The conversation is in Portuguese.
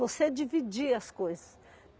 Você dividir as coisas.